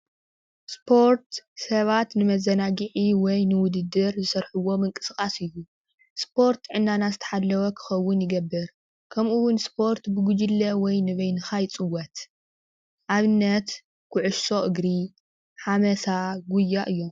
ስፖርት ሰባት ንመዘናግዒ ወይ ንውድድር ዝሰርሕዎ ምንቅስቓስ እዩ:: ስፖርት ጥዕናና ዝተሓለወ ክኸውን ይገብር ከምኡ እውን ስፖርት ብጉጅለ ወይ ንበይንኻ ይፅወት ኣብነት ኩዕሶ እግሪ ሓመሳ ጉያ እዩ።